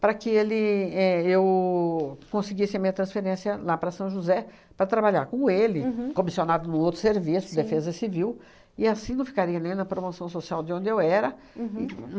para que ele é eu conseguisse a minha transferência lá para São José, para trabalhar com ele, comissionado no outro serviço, Defesa Civil, e assim não ficaria ali na promoção social de onde eu era. E